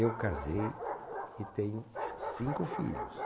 Eu casei e tenho cinco filhos.